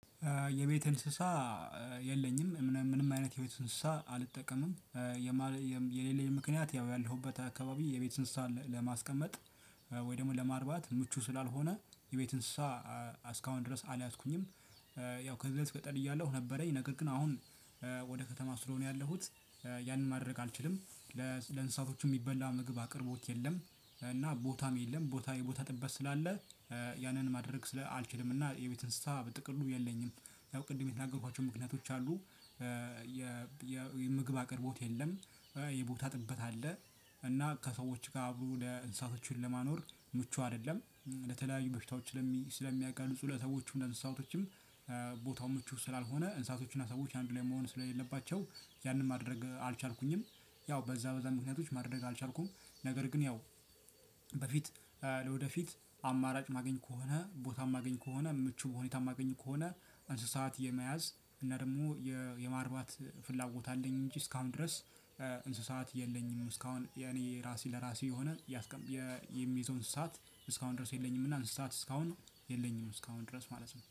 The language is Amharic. የቤት እንስሳ የለኝም። ምንም አይነት የቤት እንስሳ አልጠቀምም። የሌለኝ ምክንያት ያው ያለሁበት አካባቢ የቤት እንስሳ ለማስቀመጥ ወይ ደግሞ ለማርባት ምቹ ስላልሆነ የቤት እንስሳ እስካሁን ድረስ አልያዝኩኝም። ያው ከዚህ በፊት ገጥዕር እያለሁ ነበረኝ። ነገር ግን አሁን ወደ ከተማ ስለሆነ ያለሁት ያንን ማድረግ አልችልም። ለእንስሳቶቹ የሚበላ የምግብ አቅርቦት የለም። እና ቦታም የለም ቦታ የቦታ ጥበት ስላለ ያንን ማድረግ ስላልችልም። እና የቤትን ስታ ብጥቅሉ የለኝም። ያው ቅድም የተናገሯቸው ምክንያቶች አሉ። የምግብ አቅርቦት የለም። የቦታ ጥበት አለ። እና ከሰዎች ጋር አብሮ እንስሳቶቹን ለማኖር ለተለያዩ በሽታዎች ስለሚያጋልጡ ለሰዎችም ለእንስሳቶችም ቦታው ምቹ ስላልሆነ እንስሳቶችና ሰዎች አንዱ ላይ መሆን ስለሌለባቸው ያንን ማድረግ አልቻልኩኝም። ያው በዛ በዛ ምክንያቶች ማድረግ አልቻልኩም ነገር ግን ያው በፊት ለወደፊት አማራጭ ማገኝ ከሆነ ቦታም ማገኝ ከሆነ ምቹ ሁኔታም ማገኝ ከሆነ እንስሳት የመያዝ እና ደግሞ የማርባት ፍላጎት አለኝ። እንጂ እስካሁን ድረስ እንስሳት የለኝም። እስካሁን የኔ ራሴ ለራሴ የሆነ የምይዘው እንስሳት እስካሁን ድረስ የለኝም። እና እንስሳት እስካሁን የለኝም እስካሁን ድረስ ማለት ነው።